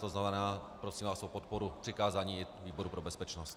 To znamená, prosím vás o podporu přikázání výboru pro bezpečnost.